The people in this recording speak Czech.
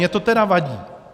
Mně to tedy vadí.